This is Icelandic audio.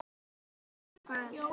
Annað dæmi.